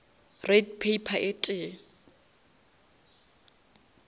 red pepper e tee